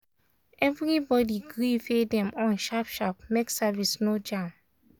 everybody gree pay dem own sharp-sharp make service no jam.